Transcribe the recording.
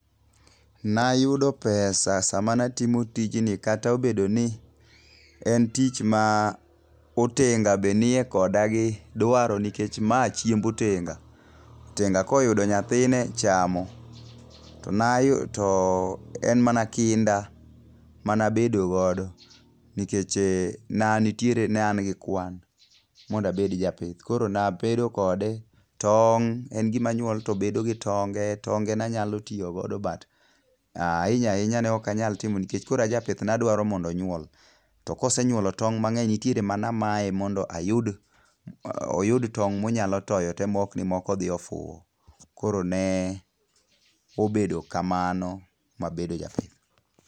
Nayudo pesa sama natimo tijni kata obedo ni en tich ma otenga be nie koda gi dwaro nikech ma chiemb otenga. Otenga koyudo nyathine chamo, to en mana kinda manabedo godo nikeche ne an gi kwan mondo abed japith koro nabedo kode tong', en gimanyuol tobedo gi tonge tonge nanyalo tiyogodo but ahinya ahinya ne ok anyal timo nikech koro ajapith nadwaro mondo onyuol. To kosenyuolo tong' mang'eny nitiere manamaye mondo oyud tong' monyalo toyo te mok ni moko odhi ofuwo. Koro ne obedo kamano mabedo japith.